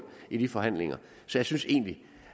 i de forhandlinger så jeg synes egentlig